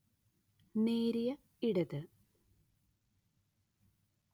നേരിയ ഇടത്